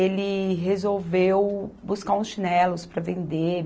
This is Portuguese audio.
Ele resolveu buscar uns chinelos para vender.